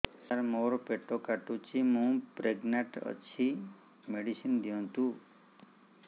ସାର ମୋର ପେଟ କାଟୁଚି ମୁ ପ୍ରେଗନାଂଟ ଅଛି ମେଡିସିନ ଦିଅନ୍ତୁ